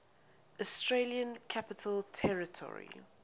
australian capital territory